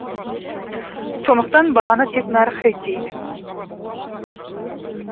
сондықтан бағаны тек нарық реттейді